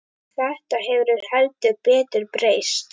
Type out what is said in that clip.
Þetta hefur heldur betur breyst.